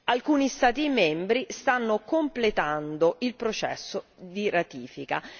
Alcuni Stati membri stanno completando il processo di ratifica.